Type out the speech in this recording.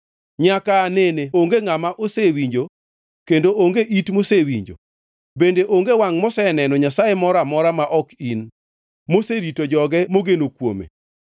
nyaka aa nene onge ngʼama osewinjo, kendo onge it mosewinjo, bende onge wangʼ moseneno Nyasaye moro amora ma ok in, moserito joge mogeno kuome.